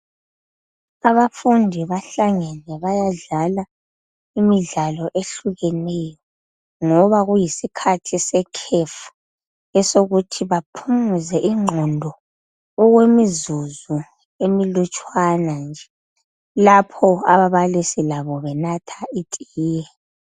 Abafundi bahlangane bayadla imidlalo ehlukeneyo .Ngoba kuyisikhathi sekhefu esokuthi baphumuze ingqondo okwemizuzu emilutshwanwa nje .Lapho ababalisi labo benatha itiye.